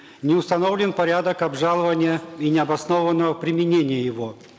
не установлен порядок обжалования и необоснованного применения его